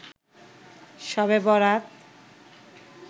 শবে বরাত